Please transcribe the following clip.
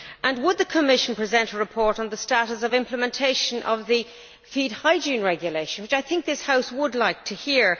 and would the Commission present a report on the status of implementation of the Feed Hygiene Regulation, which this House would like to hear?